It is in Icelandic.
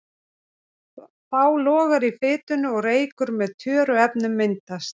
Þá logar í fitunni og reykur með tjöruefnum myndast.